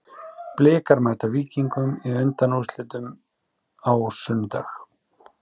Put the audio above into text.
Blikar mæta Víkingi í undanúrslitum á sunnudag.